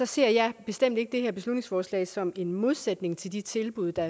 sige at jeg bestemt ikke ser det her beslutningsforslag som en modsætning til de tilbud der